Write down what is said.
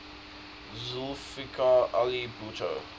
zulfikar ali bhutto